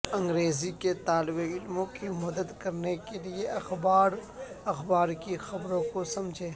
انگریزی کے طالب علموں کی مدد کرنے کے لئے اخبار اخبار کی خبروں کو سمجھیں